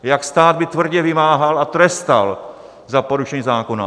Jak by stát tvrdě vymáhal a trestal za porušení zákona?